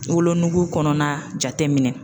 Wolonugu kɔnɔna jate minɛ.